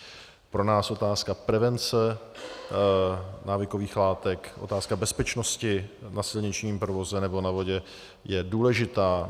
Pro nás otázka prevence návykových látek, otázka bezpečnosti na silničním provozu nebo na vodě je důležitá.